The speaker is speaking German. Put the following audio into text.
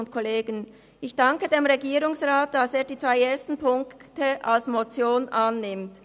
Ich danke dem Regierungsrat, dass er die zwei ersten Punkte als Motion annimmt.